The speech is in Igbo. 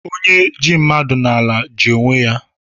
Onye ji mmadụ n'ala, ji onwe ya